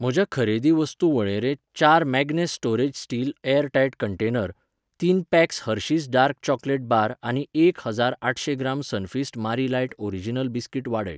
म्हज्या खरेदी वस्तू वळेरेंत चार Magnus storage steel airtight container, तीन packs Hershey's dark chocolate bar आनी एक हजार आठशे gram Sunfeast Marie light original biscuit वाडय.